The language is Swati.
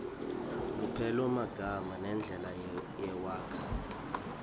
lupelomagama nendlela lewakha